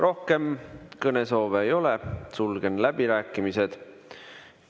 Rohkem kõnesoove ei ole, sulgen läbirääkimised.